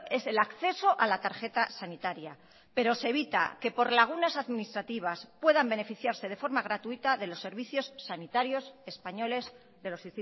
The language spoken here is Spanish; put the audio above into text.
es el acceso a la tarjeta sanitaria pero se evita que por lagunas administrativas puedan beneficiarse de forma gratuita de los servicios sanitarios españoles de los